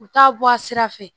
U t'a bɔ a sira fɛ